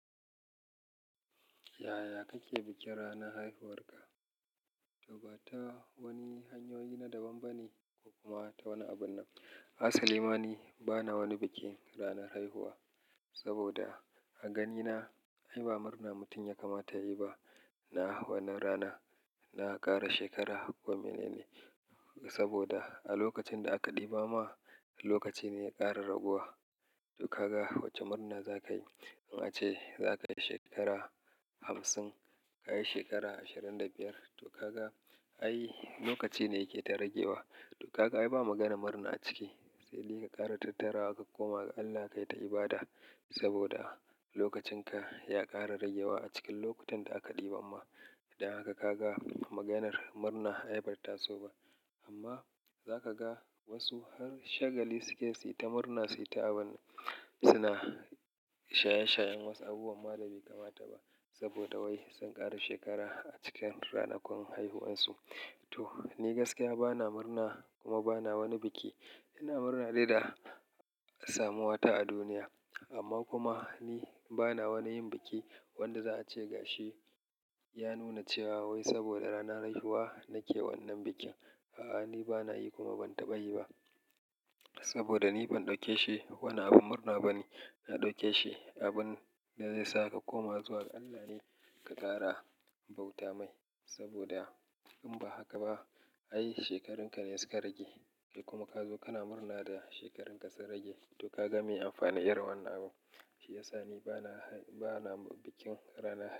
Yaya kake bikin ranar haihuwarka? To ba ta wani hanyoyi na daban bane ko kuma ta wani abun nan. Asali ma ni bana wani bikin ranar haihuwa saboda a ganina ai ba murna mutum ya kamata yayi ba. Na wannan rana na ƙara shekara kome ne ne saboda a lokacin da aka ɗiba ma lokaci ne ƙara raguwa. To kaga wace murna zakayi in ace zakayi shekara hamsin, kayi shekara ashirin da biyar to kaga ai lokaci ne yake ta ragewa. To kaga ai ba maganar murna a ciki, sai dai ka ƙara tattara ka koma ga Allah ka yi ta ibada saboda lokacin ka ya ƙara ragewa a cikin lokutan da aka ɗiba ma. Dan haka ka ga maganar murna ai bata taso ba. Amma za ka ga wasu har shagali suke si ta murna sai ta abunnan suna shaye-shayen wasu abubuwan ma da bai kamata ba saboda wai sun ƙara shekara a cikin ranakun haihuwarsu. To ni gaskiya bana murna kuma bana wani biki. Ina murna dai da samuwata a duniya amma kuma ni bana wani yin biki wanda za a ce ga shi ya nuna cewa wai saboda ranar haihuwa nake wannan bikin. A'a, ni bana yi kuma ban taɓa yi ba saboda ni ban ɗauke shi wani abin murna bane. Na ɗauke shi abin da zai saka ka koma zuwa ga Allah ne ka ƙara bauta mai saboda in ba haka ba ai shekarun ka ne su ka rage. Kai kuma ka zo kana murna da shekarun ka su rage. To ka ga me amfani irin wannan abun? Shi ya sa ni bana, bana bikin rana haihuwa.